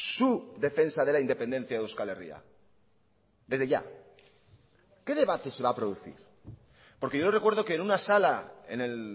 su defensa de la independencia de euskal herria desde ya qué debate se va a producir porque yo recuerdo que en una sala en el